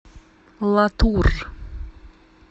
латур